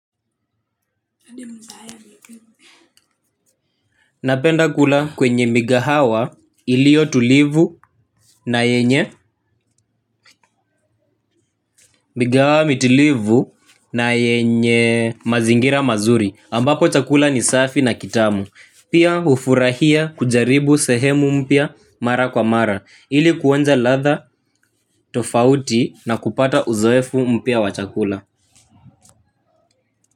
Napenda kula kwenye migahawa iliyo tulivu na yenye migahawa mitulivu na yenye mazingira mazuri ambapo chakula ni safi na kitamu. Pia hufurahia kujaribu sehemu mpya mara kwa mara ili kuonja ladha tofauti na kupata uzoefu mpya wa chakula.